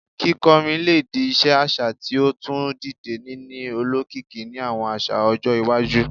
Kikọrin le di iṣe aṣa ti o tun dide, nini olokiki ni awọn aṣa-ọjọ iwaju